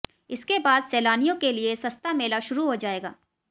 इसके बाद सैलानियों के लिए सस्ता मेला शुरू हो जाएगा